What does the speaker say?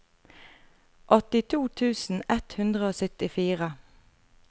åttito tusen ett hundre og syttifire